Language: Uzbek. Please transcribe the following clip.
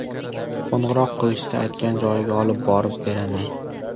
Qo‘ng‘iroq qilishsa, aytgan joyiga olib borib beraman.